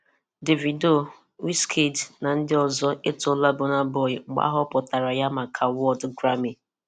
Davido, Wizkid na ndị ọzọ e tola Burna Boy mgbe ahọpụtara ya maka awod Grammy.